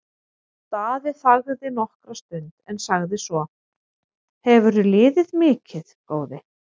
Daði þagði nokkra stund en sagði svo:-Hefurðu liðið mikið, góði?